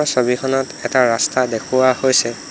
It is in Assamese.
ছবিখনত এটা ৰাস্তা দেখুৱা হৈছে।